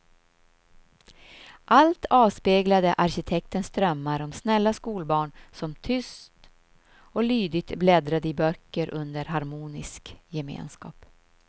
Allt avspeglade arkitektens drömmar om snälla skolbarn som tyst och lydigt bläddrade i böcker under harmonisk gemenskap.